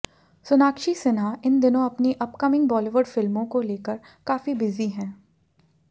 सोनाक्षी सिन्हा इन दिनों अपनी अपकमिंग बॉलीवुड फिल्मों को लेकर काफी बिजी हैं